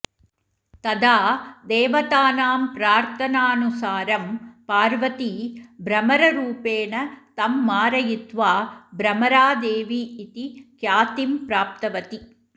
तदा देवतानां प्रार्थानानुसारं पार्वती भ्रमररूपेण तं मारयित्वा भ्रमरादेवी इति ख्यातिं प्राप्तवती